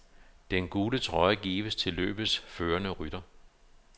Den gule trøje gives til løbets førende rytter.